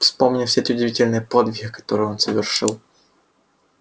вспомни все те удивительные подвиги которые он совершил